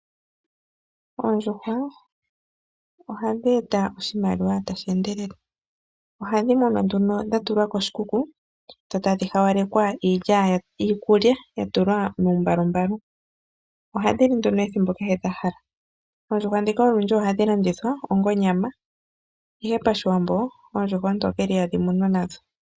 Oondjuhwa ohadhi eta oshimaliwa tashi endelele, ohadhi munwa nduno dha tulwa koshikuku dho tadhi hawalekwa iilya, iikulya ya tulwa muumbalumbalu. Ohandhi li nduno ethimbo kehe dha hala. Oondjuhwa dhika olundji ohandi landithwa onga onyama. Ihe pashiwambo oondjuhwa oontokele ihadhi munwa nadho.